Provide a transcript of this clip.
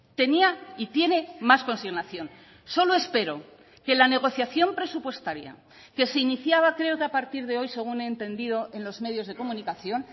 tenía y tiene más consignación solo espero que la negociación presupuestaria que se iniciaba creo que a partir de hoy según he entendido en los medios de comunicación